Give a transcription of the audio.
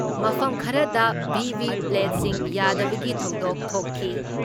ꯃꯐꯝ ꯈꯔꯗ ꯚꯤ.ꯚꯤ.ꯄ꯭ꯂꯦꯠꯁꯤꯡ ꯌꯥꯗꯕꯒꯤ ꯊꯧꯗꯣꯛ ꯊꯣꯛꯈꯤ ꯫